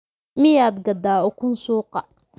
miyaad gadaa ukun suuqa